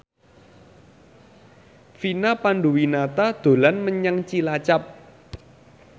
Vina Panduwinata dolan menyang Cilacap